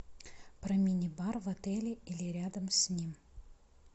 про мини бар в отеле или рядом с ним